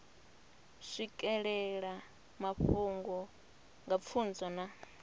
swikelela mafhungo nga pfunzo na